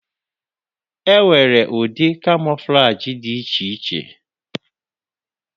Enwere ụdị kamọflajị dị iche iche.